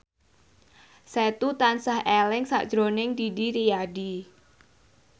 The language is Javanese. Setu tansah eling sakjroning Didi Riyadi